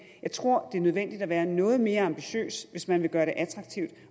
jeg tror det er nødvendigt at være noget mere ambitiøs hvis man vil gøre det attraktivt